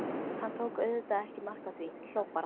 Hann tók auðvitað ekki mark á því, hló bara.